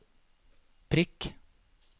prikk